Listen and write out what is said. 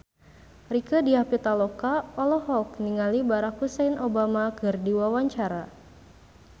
Rieke Diah Pitaloka olohok ningali Barack Hussein Obama keur diwawancara